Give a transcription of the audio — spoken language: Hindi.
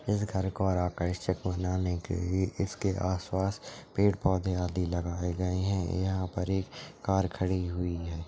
इस घर को और आकर्षक बनाने के लिए इसके आसपास पेड़-पौधे आदि लगाए गए है यहाँ पर एक कार खड़ी हुई है।